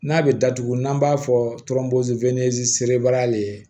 N'a bɛ datugu n'an b'a fɔ serebaga le ye